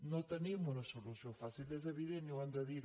no tenim una solució fàcil és evident i ho hem de dir